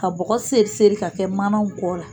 Ka bɔgɔ seeri seeri ka kɛ manaw kɔ la